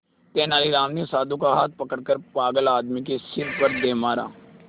तेनालीराम ने साधु का हाथ पकड़कर पागल आदमी के सिर पर दे मारा